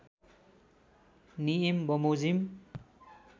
नियम बमोजिम